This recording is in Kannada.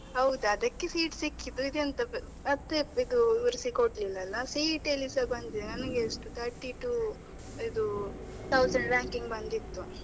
ಹೌದು ಅದಕ್ಕೆ seat ಸಿಕ್ಕಿದ್ದು, ಇದು ಎಂತದು ಮತ್ತೆ ವಿವರಿಸಿ ಕೊಡ್ಲಿಲಲ್ಲ CET ಅಲ್ಲಿಸಾ ಬಂದಿದೆ ನನ್ಗೆ ಎಷ್ಟು thirty-two ಇದು thousand ranking ಬಂದಿತ್ತು.